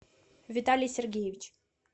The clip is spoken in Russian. виталий сергеевич